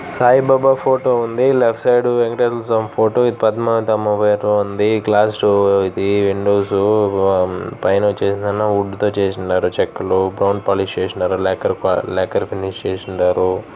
Sai Baba photo ఉంది. Glass door ఇది .windows పైన వచేసి ఏదైనా వుడ్ తో చేసున్నారు. చెక్కలు బ్రౌన్ పాలిష్ చేసినారు.లాక్కెర్ కా లాక్కెర్ ఫినిష్ ఎసి ఉండారు.